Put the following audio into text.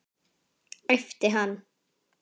æpti hann.